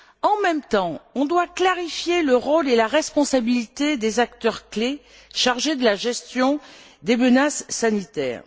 En même temps, on doit clarifier le rôle et la responsabilité des acteurs clés chargés de la gestion des menaces sanitaires.